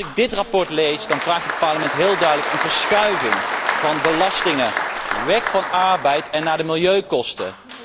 Als ik dit verslag lees, dan vraagt het Parlement heel duidelijk om een verschuiving van belastingen, weg van arbeid en naar de milieukosten.